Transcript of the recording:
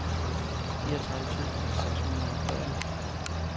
fireogtredive tusind seks hundrede og fyrre